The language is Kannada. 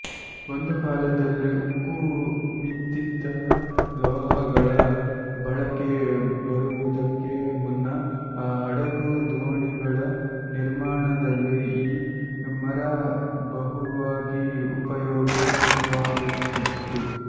ಒಂದು ಕಾಲದಲ್ಲಿ ಉಕ್ಕು ಮತ್ತಿತರ ಲೋಹಗಳ ಬಳಕೆ ಬರುವುದಕ್ಕೆ ಮುನ್ನ ಹಡಗು ದೋಣಿಗಳ ನಿರ್ಮಾಣದಲ್ಲಿ ಈ ಮರ ಬಹುವಾಗಿ ಉಪಯೋಗವಾಗುತ್ತಿತ್ತು